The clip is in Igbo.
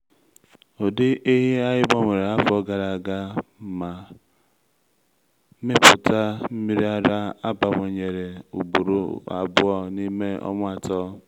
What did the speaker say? ụdị ehi anyị gbanwere afọ gara aga ma mmịpụta nmiri ara abawanyere ugboro abụọ n’ime ọnwa atọ.